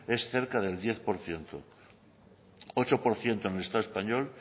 es cerca del diez por ciento ocho por ciento en el estado español